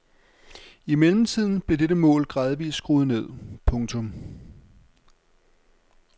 I mellemtiden blev dette mål gradvist skruet ned. punktum